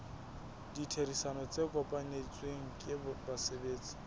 ditherisano tse kopanetsweng ke basebetsi